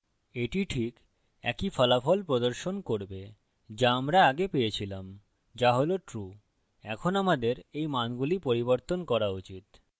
এটি this একই ফলাফল প্রদর্শন করবে যা আমরা আগে পেয়েছিলামযা হল true এখন আমাদের এই মানগুলি পরিবর্তন করা উচিত